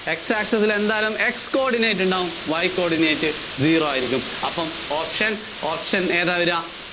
X access ല്‍ എന്തായാലും X coordinate ഉണ്ടാവും Y coordinate Zero ആയിരിയ്ക്കും. അപ്പോ option, option ഏതാ വര്വ?